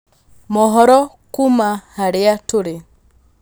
mohoro kuuma harĩa tũrĩ